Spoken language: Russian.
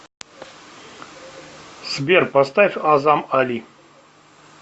сбер поставь азам али